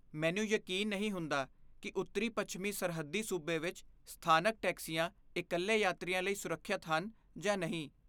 ਮੈਨੂੰ ਯਕੀਨ ਨਹੀਂ ਹੁੰਦਾ ਕੀ ਉੱਤਰੀ ਪੱਛਮੀ ਸਰਹੱਦੀ ਸੂਬੇ ਵਿੱਚ ਸਥਾਨਕ ਟੈਕਸੀਆਂ ਇਕੱਲੇ ਯਾਤਰੀਆਂ ਲਈ ਸੁਰੱਖਿਅਤ ਹਨ ਜਾਂ ਨਹੀਂ